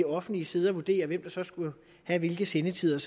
offentlige sidde og vurdere hvem der så skulle have hvilke sendetider